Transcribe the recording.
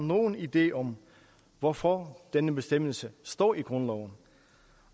nogen idé om hvorfor denne bestemmelse står i grundloven